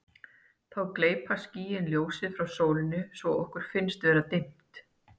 þá gleypa skýin ljósið frá sólinni svo að okkur finnst vera dimmt